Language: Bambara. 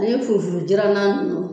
n'i ye furu furu jiranna